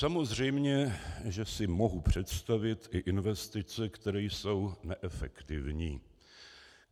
Samozřejmě, že si mohu představit i investice, které jsou neefektivní.